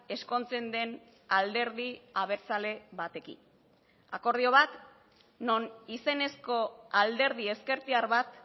ezkontzen den alderdi abertzale batekin akordio bat non izenezko alderdi ezkertiar bat